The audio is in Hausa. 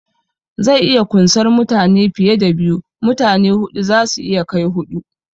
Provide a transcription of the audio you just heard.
Zai iya kunsar mutane fiye da biyu, mutane huɗu zasu iya kai huɗu